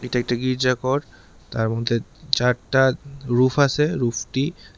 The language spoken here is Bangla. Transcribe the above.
এটি একটি গির্জা কর তার মধ্যে চা-চারটা রু-রুফ আছে রুফটি--